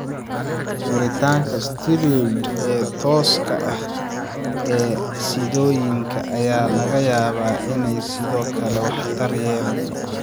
Duritaanka steroids ee tooska ah ee siddooyinka ayaa laga yaabaa inay sidoo kale waxtar yeelato.